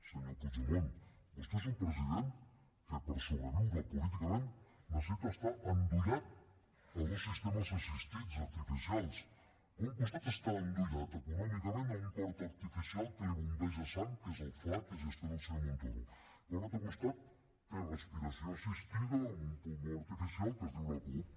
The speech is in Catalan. senyor puigdemont vostè és un president que per sobreviure políticament necessita estar endollat a dos sistemes assistits artificials per un costat està endollat econòmicament a un cor artificial que li bombeja sang que és el fla que gestiona el senyor montoro per un altre costat té respiració assistida amb un pulmó artificial que es diu la cup